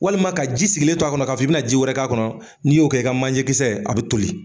Walima ka ji sigilen to a kɔnɔ ka fɔ i bɛna ji wɛrɛ k'a kɔnɔ, n'i y'o kɛ i ka manje kisɛ a be toli.